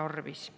tarvis.